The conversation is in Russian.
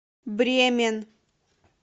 бремен